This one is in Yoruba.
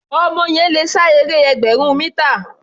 Ọmọ yẹn le sá eré ẹgbẹ̀rún mítà.